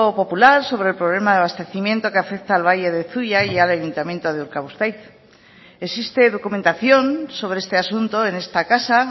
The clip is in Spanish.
popular sobre el problema de abastecimiento que afecta al valle de zuia y al ayuntamiento de urkabustaiz existe documentación sobre este asunto en esta casa